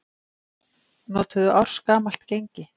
Notuðu ársgamalt gengi